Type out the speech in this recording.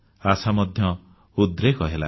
ଆଶା ମଧ୍ୟ ଉଦ୍ରେକ ହେଲା